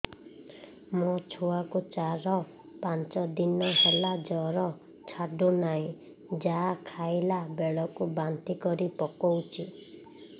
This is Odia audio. ମୋ ଛୁଆ କୁ ଚାର ପାଞ୍ଚ ଦିନ ହେଲା ଜର ଛାଡୁ ନାହିଁ ଯାହା ଖାଇଲା ବେଳକୁ ବାନ୍ତି କରି ପକଉଛି